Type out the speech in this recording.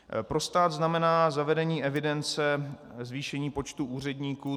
Pro stát znamená zavedení evidence zvýšení počtu úředníků.